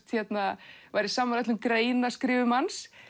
væri sammála öllum greinaskrifum hans